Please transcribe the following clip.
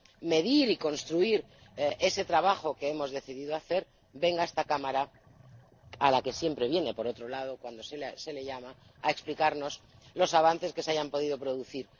medir y construir ese trabajo que hemos decidido hacer, venga a esta Cámara ―a la que siempre viene, por otro lado, cuando se la llama— a explicarnos los avances que se hayan podido producir.